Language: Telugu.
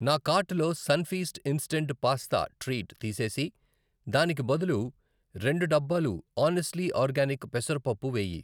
నా కార్టులో సన్ఫీస్ట్ ఇంస్టంట్ పాస్తా ట్రీట్ తీసేసి దానికి బదులు రెండు డబ్బాలు ఆనెస్ట్లీ ఆర్గానిక్ పెసర పప్పు వేయి.